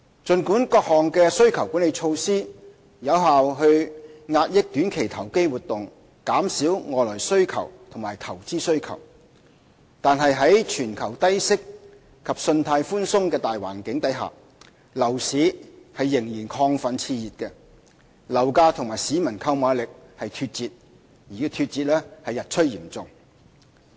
儘管各項需求管理措施有效遏抑短期投機活動，並減少外來需求和投資需求，但在全球低息及信貸寬鬆的大環境下，樓市仍然亢奮熾熱，樓價與市民的購買力脫節，情況日趨嚴重。